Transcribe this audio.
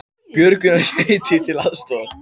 Björgunarsveitir til aðstoðar